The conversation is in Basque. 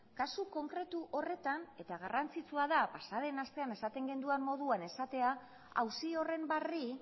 kasu konkretu horretan eta garrantzitsua da pasaden astean esaten genuen moduan esatea auzi horren barri